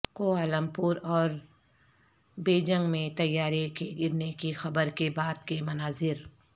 Kuala Lumpur اور Beijing میں طیارے کے گرنے کی خبر کے بعد کے مناظر